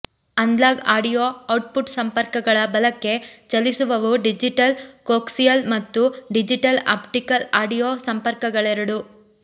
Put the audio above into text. analogue audio output ಸಂಪರ್ಕಗಳ ಬಲಕ್ಕೆ ಚಲಿಸುವವು ಡಿಜಿಟಲ್ ಕೋಕ್ಸಿಯಲ್ ಮತ್ತು ಡಿಜಿಟಲ್ ಆಪ್ಟಿಕಲ್ ಆಡಿಯೊ ಸಂಪರ್ಕಗಳೆರಡೂ